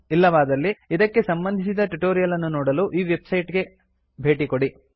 ಇಲ್ಲವಾದಲ್ಲಿ ಇದಕ್ಕೆ ಸಂಬಂಧಿಸಿದ ಟ್ಯುಟೋರಿಯಲ್ ಅನ್ನು ನೋಡಲು ಈ ವೆಬ್ಸೈಟ್ ಗೆ ಭೇಟಿ ಕೊಡಿ